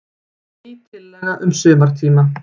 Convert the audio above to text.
Ný tillaga um sumartíma.